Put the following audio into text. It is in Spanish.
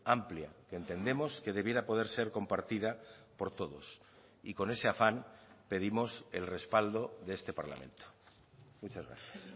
amplia que entendemos que debiera poder ser compartida por todos y con ese afán pedimos el respaldo de este parlamento muchas gracias